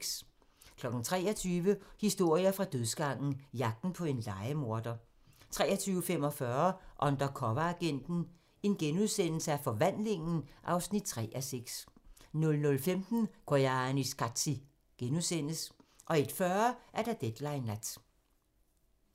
23:00: Historier fra dødsgangen - Jagten på en lejemorder 23:45: Undercoveragenten - Forvandlingen (3:6)* 00:15: Koyaanisqatsi * 01:40: Deadline Nat